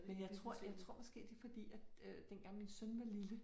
Men jeg tror jeg måske det fordi at øh dengang min søn var lille